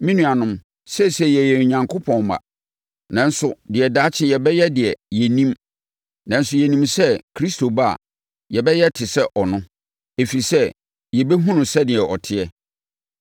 Me nuanom, seesei yɛyɛ Onyankopɔn mma, nanso deɛ daakye yɛbɛyɛ deɛ, yɛnnim. Nanso, yɛnim sɛ Kristo ba a, yɛbɛyɛ te sɛ ɔno, ɛfiri sɛ, yɛbɛhunu no sɛdeɛ ɔteɛ.